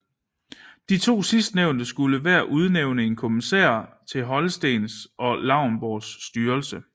De to sidstnævnte skulle hver udnævne en kommisær til Holstens og Lauenborgs styrelse